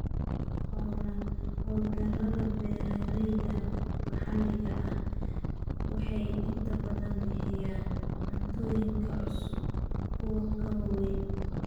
Hawlgallada beeralayda maxalliga ahi waxay inta badan bixiyaan cuntooyin ka cusub kuwa ka waaweyn.